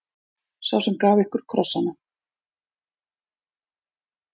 Sá sem gaf ykkur krossana.